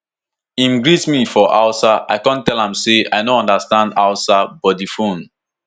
im greet me for hausa i kon tell am say i no understand hausa but di phone